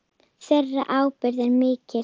Þeirra ábyrgð er mikil.